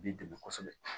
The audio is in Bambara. Bi dɛmɛ kosɛbɛ